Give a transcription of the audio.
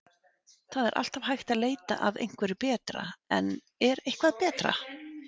Það er alltaf hægt að leita að einhverju betra en er eitthvað betra?